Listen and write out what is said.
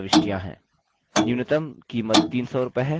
न्यूनतम कीमत 300 रूपये है